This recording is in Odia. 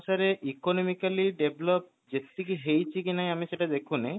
ସାରେ economically develop ଯେତିକି ହେଇଛିକି ନାହିଁ ଆମେ ସେଇଟା ଦେଖୁନେ